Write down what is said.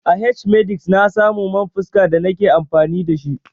A h-medix na samu man fuska da na ke amfani da shi.